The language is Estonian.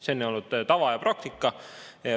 See on olnud tava ja praktika.